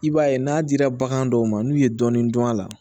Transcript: I b'a ye n'a dira bagan dɔw ma n'u ye dɔɔnin dɔn a la